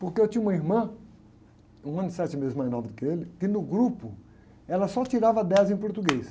Porque eu tinha uma irmã, um ano e sete meses menor do que ele, que no grupo, ela só tirava dez em português.